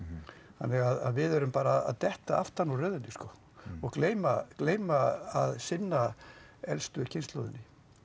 þannig að við erum bara að detta aftan úr röðinni sko og gleyma gleyma að sinna elstu kynslóðinni